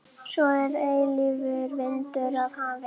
Baróninn var farinn að hafa fótaferð mestallan daginn.